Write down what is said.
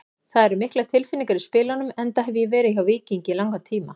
Það eru miklar tilfinningar í spilunum enda hef ég verið hjá Víkingi í langan tíma.